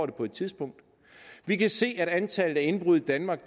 det på et tidspunkt vi kan se at antallet af indbrud i danmark